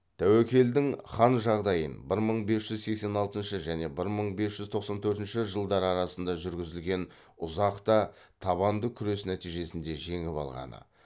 тәуекелдің хан жағдайын бір мың бес жүз сексен алтыншы және бір мың бес жүз тоқсан төртінші жылдар арасында жүргізілген ұзақ та табанды күрес нәтижесінде жеңіп алғаны